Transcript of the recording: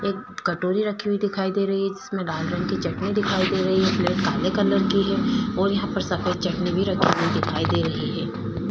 एक कटोरी रखी हुई दिखाई दे रही है जिसमें लाल रंग की चटनी दिखाई दे रही है प्लेट काले कलर की है और यहाँ पे सफ़ेद चटनी भी रखी हुई दिखाई दे रही है।